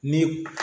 Ni